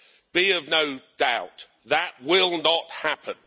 Be of no doubt that will not happen.